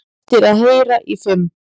Eftir að heyra í fimm